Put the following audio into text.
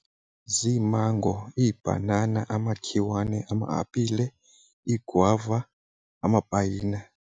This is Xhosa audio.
Ziimango, iibhanana, amakhiwane, ama-apile, iigwava, amapayina.